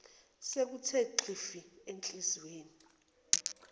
sekuthe xhifi enhliziyweni